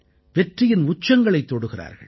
வெற்றியின் உச்சங்களைத் தொடுகிறார்கள்